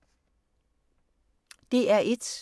DR1